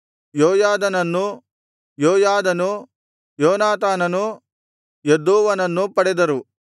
ಯೋಯಾದನು ಯೋನಾತಾನನನ್ನೂ ಯೋನಾತಾನನು ಯದ್ದೂವನನ್ನೂ ಪಡೆದರು